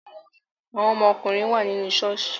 Àwọn ọmọ ọkùnrin wà nínú ṣọ́ọ̀ṣì